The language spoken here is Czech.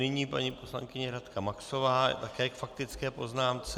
Nyní paní poslankyně Radka Maxová, také k faktické poznámce.